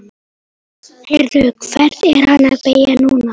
Heyrðu. hvert er hann að beygja núna?